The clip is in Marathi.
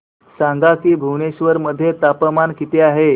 सांगा की भुवनेश्वर मध्ये तापमान किती आहे